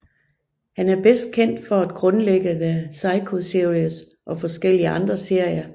Han er bedst kendt for at grundlægge The Psycho Series og forskellige andre serier